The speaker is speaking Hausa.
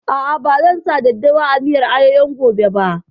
A'a, ba zan sa daddawa a miyar ayoyon gobe ba